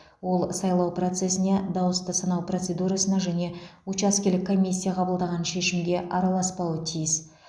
ол сайлау процесіне дауысты санау процедурасына және учаскелік комиссия қабылдаған шешімге араласпауы тиіс